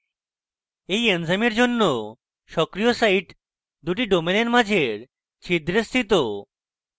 এই এনজাইমের জন্য সক্রিয় site দুটি ডোমেনের মাঝের ছিদ্রে স্থিত